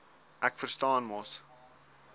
ek verstaan mos